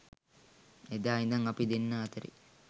එදා ඉඳන් අපි දෙන්න අතරෙ